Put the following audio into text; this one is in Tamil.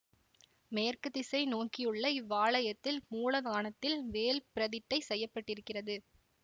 மேற்கு திசை நோக்கியுள்ள இவ்வாலயத்தில் மூலத்தானத்தில் வேல் பிரதிட்டை செய்ய பட்டிருக்கிறது